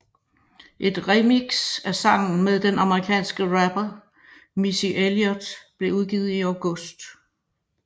Et remix af sangen med den amerikanske rapper Missy Elliot blev udgivet i august